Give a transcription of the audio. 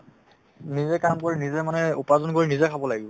নিজে কাম কৰি নিজে মানুহে উপাৰ্জন কৰি নিজে খাব লাগিব